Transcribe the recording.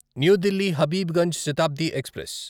new Delhi Habibganj Shatabdi express